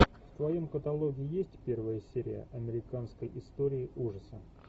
в твоем каталоге есть первая серия американской истории ужаса